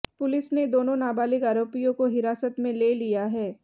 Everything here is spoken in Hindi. पुलिस ने दोनों नाबालिग आरोपियों को हिरासत में ले लिया है